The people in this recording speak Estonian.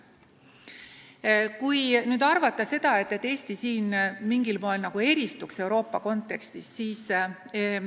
Ei maksa arvata, et Eesti kogu Euroopa kontekstis selles mõttes mingil moel eristub.